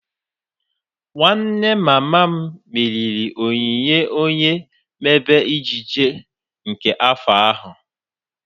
Nwanne mama m meriri onyinye onye mmebe Ejiji nke afọ ahu